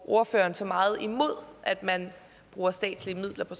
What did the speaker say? ordføreren så meget imod at man bruger statslige midler på